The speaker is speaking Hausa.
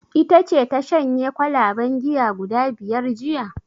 Ita ce ta shanye kwalaben giya guda biyar jiya?